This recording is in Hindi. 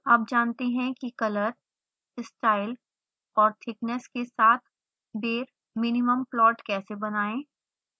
अब जानते हैं कि color style और thickness के साथ bare minimum plot कैसे बनाएं